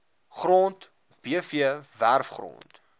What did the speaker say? grond bv werfgrond